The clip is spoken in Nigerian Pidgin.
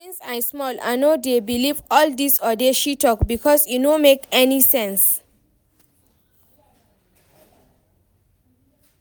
Since I small I no dey believe all dis odeshi talk because e no make any sense